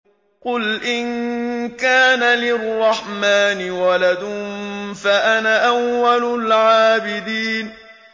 قُلْ إِن كَانَ لِلرَّحْمَٰنِ وَلَدٌ فَأَنَا أَوَّلُ الْعَابِدِينَ